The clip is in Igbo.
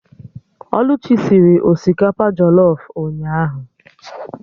Oluchi sịrị osikapa jọlọf ụnyaahụ